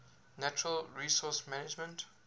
natural resource management